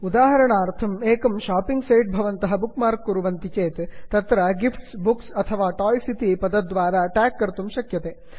उदाहरणार्थं एकं shopping site भवन्तः बुक् मार्क् कुर्वन्ति चेत् तत्र गिफ्ट्स् बुक्स् अथवा टाय्स् इति पदद्वारा ट्याग् कर्तुं शक्यते